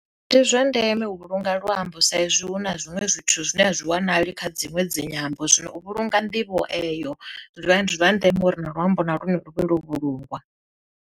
Ndi zwa ndeme u vhulunga luambo saizwi hu na zwiṅwe zwithu zwine a zwi wanali kha dziṅwe dzinyambo, zwino u vhulunga nḓivho eyo zwiḓivha ndi zwa ndeme uri na luambo na lune lu vhe lwo vhulungwa.